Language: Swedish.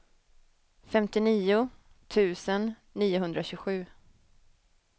femtionio tusen niohundratjugosju